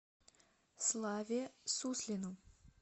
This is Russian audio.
славе суслину